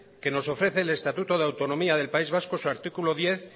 que nos ofrece el estatuto de autonomía del país vasco en su artículo diez